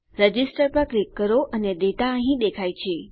register પર click કરો અને ડેટા અહીં દેખાય છે